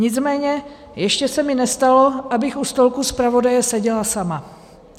Nicméně ještě se mi nestalo, abych u stolku zpravodaje seděla sama.